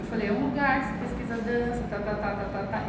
Eu falei, é um lugar que se pesquisa dança, tá, tá, tá, tá, tá, tá.